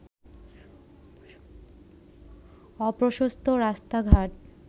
অপ্রশস্ত রাস্তাঘাট